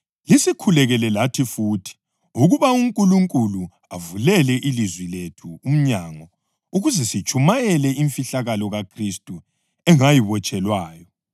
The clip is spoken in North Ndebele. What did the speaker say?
Lisikhulekele lathi futhi ukuba uNkulunkulu avulele ilizwi lethu umnyango ukuze sitshumayele imfihlakalo kaKhristu engayibotshelwayo.